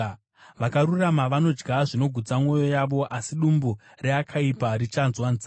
Vakarurama vanodya zvinogutsa mwoyo yavo, asi dumbu reakaipa richanzwa nzara.